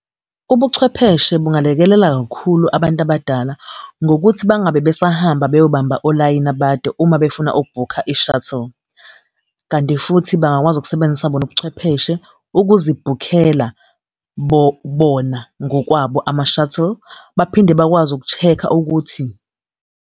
Ubuchwepheshe bungalekelela kakhulu abantu abadala, ngokuthi bangabe besahamba beyobamba olayini abade uma befuna ukubhukha i-shuttle. Kanti futhi bangakwazi ukusebenzisa bona ubuchwepheshe ukuzibhukela bona ngokwabo ama-shuttle, baphinde bakwazi uku-check-a ukuthi.